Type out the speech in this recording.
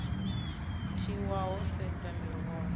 tiwa ho sedzwa miholo ya